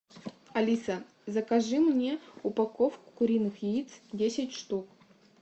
алиса закажи мне упаковку куриных яиц десять штук